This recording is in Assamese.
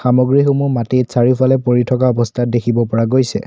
সামগ্ৰীসমূহ মাটিত চাৰিওফালে পৰি থকা অৱস্থাত দেখিব পৰা গৈছে।